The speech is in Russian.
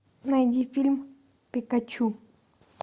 найди фильм пикачу